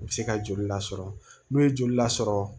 U bɛ se ka joli lasɔrɔ n'u ye joli lasɔrɔ